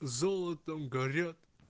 золотом горят